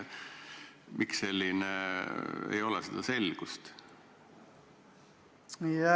Miks ei ole seda selgust?